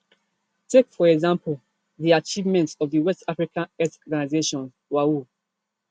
take for example di achievements of di west african health organization waho